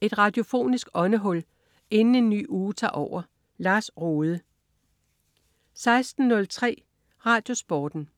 Et radiofonisk åndehul inden en ny uge tager over. Lars Rohde 16.03 RadioSporten